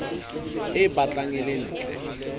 e batlang e le ntle